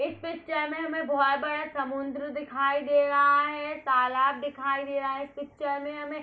इस पिक्चर में हमें बहोत बड़ा समुंद्र दिखाई दे रहा है। तालाब दिखाई दे रहा है इस पिक्चर में हमें।